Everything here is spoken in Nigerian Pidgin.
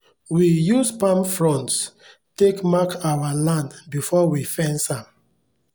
we use palm fronts take mark our land before we fence am